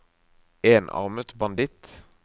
enarmet banditt